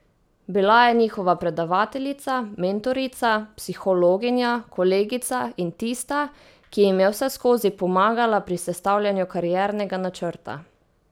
Bila je njihova predavateljica, mentorica, psihologinja, kolegica in tista, ki jim je vseskozi pomagala pri sestavljanju kariernega načrta.